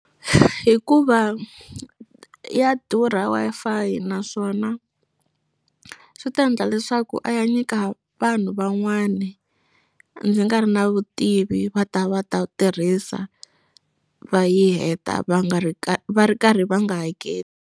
Hikuva ya durha Wi-Fi naswona swi ta endla leswaku a ya nyika vanhu van'wani ndzi nga ri na vutivi va ta va ta tirhisa va yi heta va nga ri va ri karhi va nga hakeli.